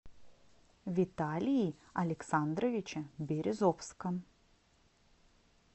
виталии александровиче березовском